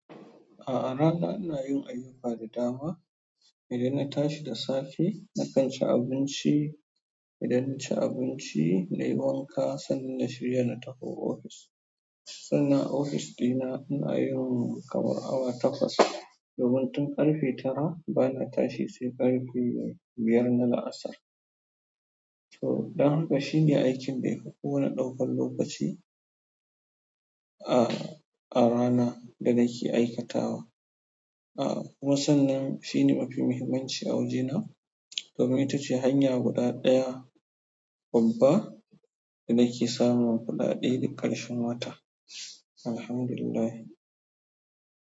A'a rana ina yin ayyuka da dama. Idan na tashi da safe, na kanci abinci. Idan naci abinci, nayi wanka sannan na shirya na tafi ofis. Sannan ofis ɗina inayin kamar awa takwas domin tun ƙarfe tara bana tashi sai ƙarfe biyar na la'asar. To danko shine aikin dayafi komai ɗaukan lokaci a rana da nake aikatawa. A kuma sannan shine mafi muhimmanci a wajena domin itace hanya guda ɗaya babba da nake samun kuɗaɗa duk ƙarshen wata, Alhamdulillah.